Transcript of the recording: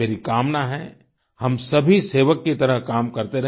मेरी कामना है हम सभी सेवक की तरह काम करते रहे